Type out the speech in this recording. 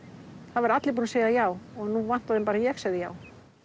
það væru allir búnir að segja já og nú vantaði bara að ég segði já